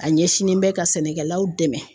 A ɲɛsinnen bɛ ka sɛnɛkɛlaw dɛmɛ